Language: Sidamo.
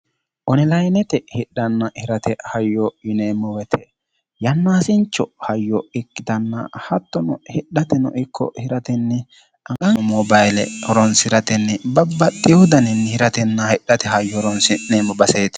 onilayinete hidhanna hirate hayyo yineemmo wote hattono hidhatennino ikko hiratenni babbaxitino dani mobayile horonsiratenni babbaxewo dani hayyo hiratena hidhate horo'si'nanni hayyooti.